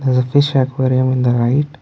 fish aquarium in the right.